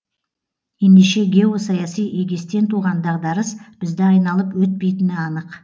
ендеше геосаяси егестен туған дағдарыс бізді айналып өтпейтіні анық